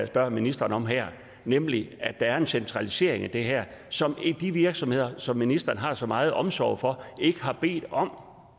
spørger ministeren om her nemlig at der er en centralisering i det her som de virksomheder som ministeren har så meget omsorg for ikke har bedt om